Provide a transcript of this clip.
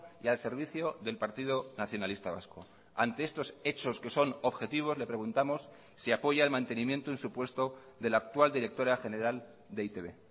y al servicio del partido nacionalista vasco ante estos hechos que son objetivos le preguntamos si apoya el mantenimiento en su puesto de la actual directora general de e i te be